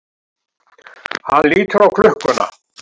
Hann lítur á klukkuna.